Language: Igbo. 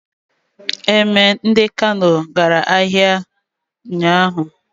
Emir nke Kano gara ahịa ụnyahụ.